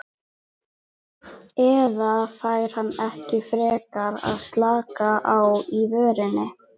Eða fær hann ekki frekar að slaka á í vörninni?